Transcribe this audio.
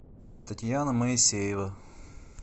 татьяна моисеева